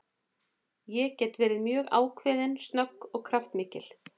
Ég get verið mjög ákveðin, snögg og kraftmikil.